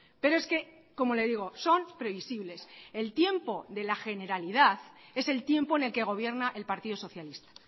pero es que como le digo son previsibles el tiempo de la generalidad es el tiempo en el que gobierna el partido socialista